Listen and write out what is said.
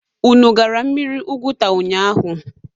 Unu gara mmiri Oguta ụnyaahụ?